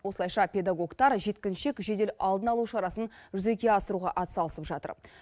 осылайша педагогтар жеткіншек жедел алдын алу шарасын жүзеге асыруға атсалысып жатыр